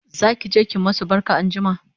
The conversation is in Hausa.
zakije ki masu barka anjima?